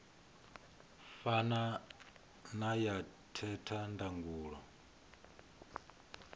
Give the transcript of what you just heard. fana na ya theta ndangulo